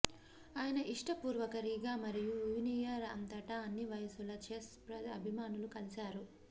ఆయన ఇష్టపూర్వక రీగా మరియు యూనియన్ అంతటా అన్ని వయసుల చెస్ అభిమానులు కలిశారు